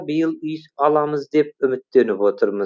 биыл үй аламыз деп үміттеніп отырмыз